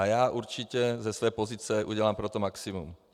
A já určitě ze své pozice udělám pro to maximum.